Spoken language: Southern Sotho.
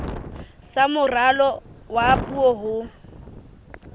sa moralo wa puo ho